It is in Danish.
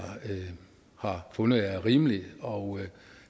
har fundet er rimelig og